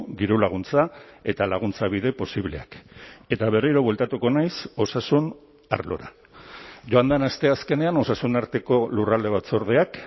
dirulaguntza eta laguntza bide posibleak eta berriro bueltatuko naiz osasun arlora joan den asteazkenean osasun arteko lurralde batzordeak